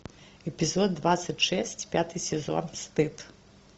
эпизод двадцать шесть пятый сезон стыд